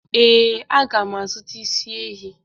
Ee, a mga m azụta isi ehi.